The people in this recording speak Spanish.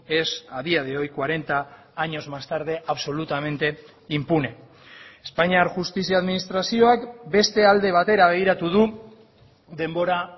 es a día de hoy cuarenta años más tarde absolutamente impune espainiar justizia administrazioak beste alde batera begiratu du denbora